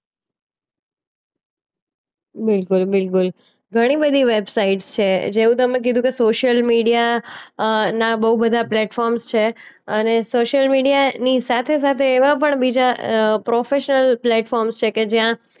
બિલકુલ બિલકુલ. ઘણીબધી વેબસાઈટ્સ છે જેવું તમે કીધું કે સોશ્યિલ મીડિયા અ ના બો બધા પ્લેટફોર્મ્સ છે અને સોશ્યિલ મીડિયાની સાથે-સાથે એવા પણ બીજા અ પ્રોફેશનલ પ્લેટફોર્મ્સ છે કે જ્યાં